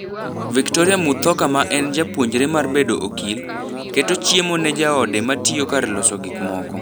Victoria Muthoka ma en japuonjre mar bedo okil, keto chiemo ne jaode matio kar loso gik moko.